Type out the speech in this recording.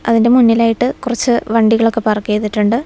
അതിനു മുന്നിലായിട്ട് കുറച്ച് വണ്ടികൾ ഒക്കെ പാർക്ക് ചെയ്തിട്ടുണ്ട്.